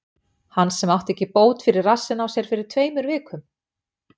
Hann sem átti ekki bót fyrir rassinn á sér fyrir tveimur vikum?